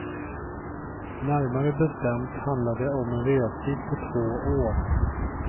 Närmare bestämt handlar det om en restid på två år.